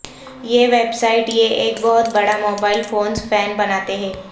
یہ website یہ ایک بہت بڑا موبائل فونز فین بناتے ہیں